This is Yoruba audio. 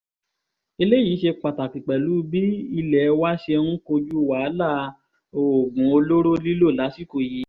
eléyìí ṣe pàtàkì pẹ̀lú bí ilé wa ṣe ń kojú wàhálà oògùn olóró lílò lásìkò yìí